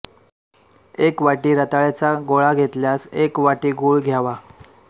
एक वाटी रत्याळाचा गोळा घेतल्यास एक वाटी गुळ घ्यावा